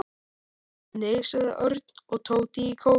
Nei sögðu Örn og Tóti í kór.